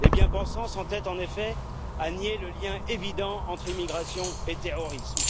Les bien pensants s'entêtent, en effet, à nier le lien évident entre immigration et terrorisme.